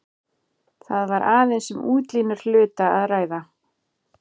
Þar var aðeins um útlínur hluta að ræða.